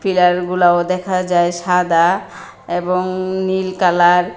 দেওয়ালগুলাও দেখা যায় সাদা এবং নীল কালার ।